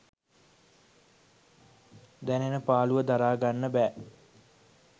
දැනෙන පාළුව දරා ගන්න බෑ